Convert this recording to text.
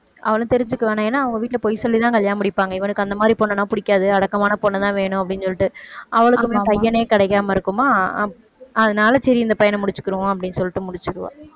தெரிஞ்சுக்க வேணாம் ஏன்னா அவங்க வீட்டில பொய் சொல்லித்தான் கல்யாணம் முடிப்பாங்க இவனுக்கு அந்த மாதிரி பொண்ணுன்னா பிடிக்காது அடக்கமான பொண்ணுதான் வேணும் அப்படின்னு சொல்லிட்டு, அவளுக்குமே பையனே கிடைக்காம இருக்குமா அதனால சரி இந்த பையனை முடிச்சுக்கிருவோம் அப்படின்னு சொல்லிட்டு முடிச்சிருவா